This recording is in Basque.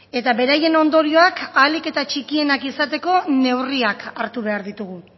eta beraien ondorioak ahalik eta txikienak izateko neurriak hartu behar ditugu